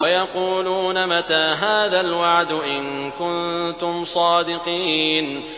وَيَقُولُونَ مَتَىٰ هَٰذَا الْوَعْدُ إِن كُنتُمْ صَادِقِينَ